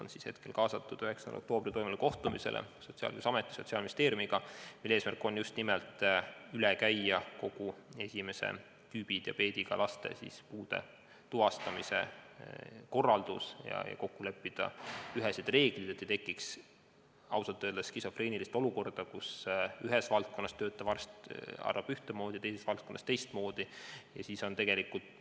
Nemad on hetkel kutsutud 9. oktoobril Sotsiaalkindlustusameti ja Sotsiaalministeeriumiga toimuvale kohtumisele, mille eesmärk on käia üle just nimelt esimest tüüpi diabeediga laste puude tuvastamise korraldus ja leppida kokku ühesed reeglid, et ei tekiks skisofreenilist olukorda, kus ühes valdkonnas töötav arst arvab ühtemoodi, teises valdkonnas töötav arst teistmoodi.